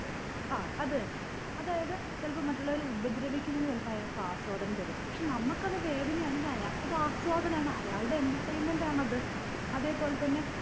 ആ അത് തന്നെ അതായത് ചിലപ്പോ മറ്റുള്ളവരെ ഉപദ്രവിക്കുന്നത് ചിലപ്പൊ അയാക്ക് ആസ്വാദനം തരാ പക്ഷെ നമ്മക്ക് അത് വേദനയാണെങ്കി അയാക്ക് അത് ആസ്വാദനാണ് അയാൾടെ entertainment ആണത് അതെ പോലെ തന്നെ